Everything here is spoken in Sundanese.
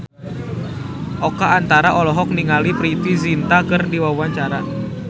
Oka Antara olohok ningali Preity Zinta keur diwawancara